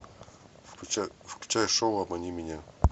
включай шоу обмани меня